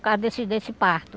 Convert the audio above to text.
causa desse desse parto.